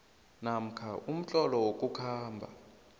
namkha umtlolo wokukhamba